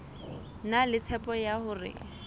na le tshepo ya hore